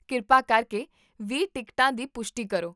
ਕਿਰਪਾ ਕਰਕੇ ਵੀਹ ਟਿਕਟਾਂ ਦੀ ਪੁਸ਼ਟੀ ਕਰੋ